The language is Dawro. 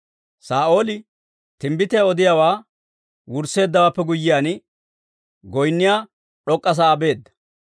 Saa'ooli timbbitiyaa odiyaawaa wursseeddawaappe guyyiyaan, goynniyaa d'ok'k'a sa'aa beedda.